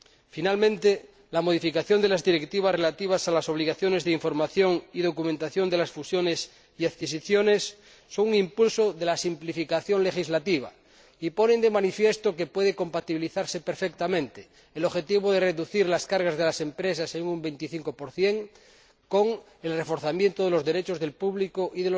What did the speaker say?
Finalmente, la modificación de varias directivas en lo que se refiere a las obligaciones de información y documentación en el caso de las fusiones y escisiones constituye un impulso de la simplificación legislativa y pone de manifiesto que puede compatibilizarse perfectamente el objetivo de reducir las cargas de las empresas en un 25 con el reforzamiento de los derechos del público y